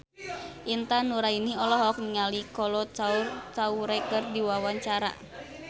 Intan Nuraini olohok ningali Kolo Taure keur diwawancara